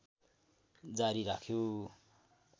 जारी राख्यो